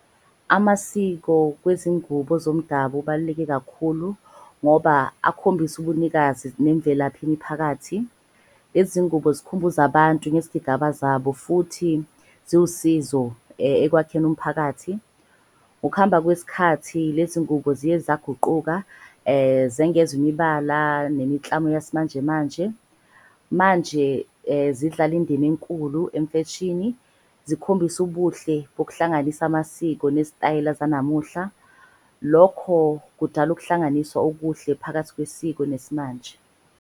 Amasiko kwezingubo zomdabu ubaluleke kakhulu ngoba akhombisa ubunikazi nemvelaphi miphakathi. Lezi zingubo zikhumbuza abantu ngezigigaba zabo futhi ziwusizo ekwakheni umphakathi. Ngokuhamba kwesikhathi lezi ngubo ziye zaguquka zengenzwa imibala nemiklamu yesimanjemanje. Manje zidlala indima enkulu emfeshini, zikhombise ubuhle ngokuhlanganisa amasiko nezitayela zanamuhla. Lokho kudala ukuhlanganiswa okuhle phakathi kwesiko nesimanje.